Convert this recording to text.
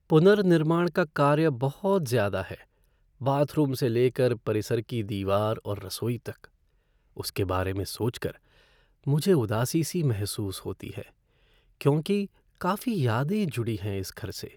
पुनर्निर्माण का कार्य बहुत ज़्यादा है, बाथरूम से लेकर परिसर की दीवार और रसोई तक, उसके बारे में सोच कर मुझे उदासी सी महसूस होती है क्योंकि काफी यादें जुड़ी हैं इस घर से।